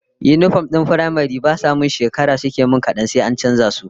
Yinifom dina na firamare ba sa shekara suke min kadan sai an canza su